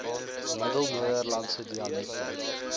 middel nederlandse dialekte